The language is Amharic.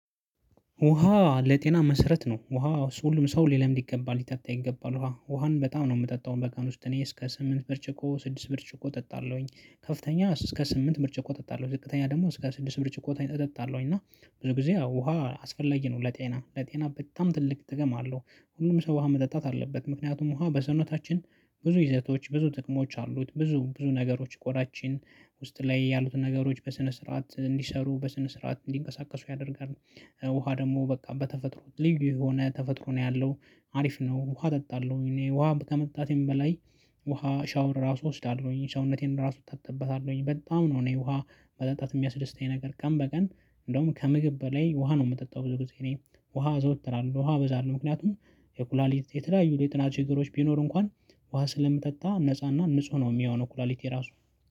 ውሃ ለጤና መሰረት ነው ውሃ ሰው ሊለምድ ይገባል ሊጠጣ ይገባል ውሃ ውሃን በጣም ነው የምጠጣው በቀን ውስጥ እኔ እስከ ስምንት ብርጭቆ ስድስት ብርጭቆ እጠጣለሁኝ። ከፍተኛ እስከ ስምንት ብርጭቆ እጠጣለሁኝ ዝቅተኛ ደግሞ እስከ ስድስት ብርጭቆ እጠጣለው እና ብዙ ጊዜ ውሃ አስፈላጊ ነው ለጤና ለጤና በጣም ትልቅ ጥቅም አለሁ። ሁሉም ሰው ውሃ መጠጣት አለበት። ምክንያቱም ውሃ በሰውነታችን ብዙ ይዘቶች ብዙ ጥቅሞች አሉት ብዙ ብዙ ነገሮች ቆዳጭን ውስጥ ላይ ያሉትን ነገሮች በስነ ስርዓት እንዲሰሩ በስነ ስርዓት እንዲንቀሳቀሱ ያደርጋል። ውሃ ደግሞ በቃ በተፈጥሮ ልዩ የሆነ ተፈጥሮ ነው ያለው። አሪፍ ነው። ውሃ እጠጣለሁ እኔ ውሃ ከመጣቴም በላይ። ውሃ ሻወር ራሱ እወስዳለሁኝ ሰውነቴን ራሱ እታጠብበታለሁኝ በጣም ነው። እኔ ውሃ መጠጣት የሚያስደስተኝ ነገር በቀን እንደውም ከምግብ በላይ ውሃ ነው የምጠጣው። ብዙ ጊዜ እኔ ውሃ አዘወትራለሁ። ውሃ እበዛለሁ ምክንያቱም። የኩላሊት የተለያዩ የጤና ችግሮ። ኢገሮች ቢኖሩ እንኳን ውሃ ስለምትጠጣ ነፃና ንጹህ ነው የሚሆነው። ኩላሊቴ ራሱ